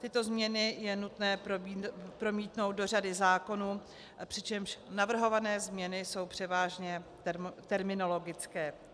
Tyto změny je nutné promítnout do řady zákonů, přičemž navrhované změny jsou převážně terminologické.